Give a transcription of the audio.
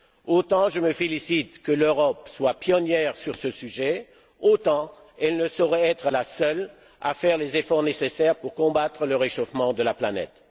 Autant je me félicite que l'Europe soit pionnière sur ce sujet, autant elle ne saurait être la seule à faire les efforts nécessaires pour combattre le réchauffement de la planète.